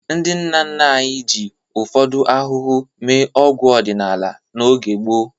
Ndị nna nna anyị ji ụfọdụ ahụhụ mee ọgwụ ọdinala n'oge gboo.